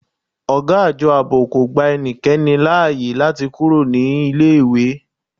Ọ̀gá Àjọ Ààbò kò gba ẹnikẹ́ni láyè láti kúrò ní iléèwé